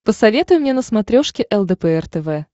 посоветуй мне на смотрешке лдпр тв